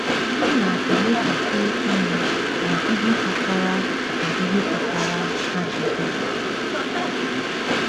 Ha na-elekwasị anya na ihe kpatara na ihe kpatara ha ji bịa.